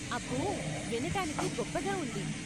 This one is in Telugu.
అబ్బో, వినటానికి గొప్పగా ఉంది.